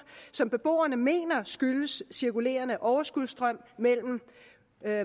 som beboerne mener skyldes cirkulerende overskudsstrøm mellem